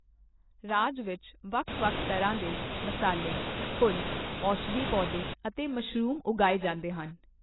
ਰਾਜ ਵਿੱਚ ਵੱਖ ਵੱਖ ਤਰ੍ਹਾਂ ਦੇ ਮਸਾਲੇ, ਫੁੱਲ, ਔਸ਼ਧੀ ਪੌਦੇ ਅਤੇ ਮਸ਼ਰੂਮ ਉਗਾਏ ਜਾਂਦੇ ਹਨ।